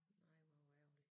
Nej hvor hvor ærgerligt